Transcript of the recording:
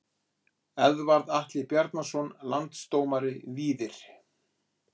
Eðvarð Atli Bjarnason Landsdómari Víðir